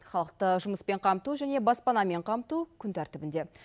халықты жұмыспен қамту және баспанамен қамту күн тәртібінде